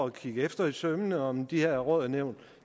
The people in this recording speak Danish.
at se det efter i sømmene og om de her råd og nævn